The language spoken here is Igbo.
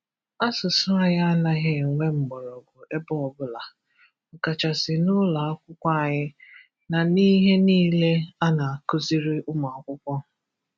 asụsụ anyị anaghị enwe mgbọrọgwụ ebe ọbụla, ọ kachasị n'ụlọakwụkwọ anyị na n'ihe niile a na-akuziri ụmụakwụkwọ.